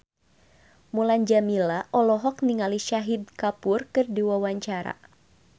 Mulan Jameela olohok ningali Shahid Kapoor keur diwawancara